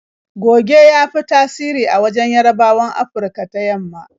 Goge ya fi tasiri a wajen Yarabawan Afurka ta yamma.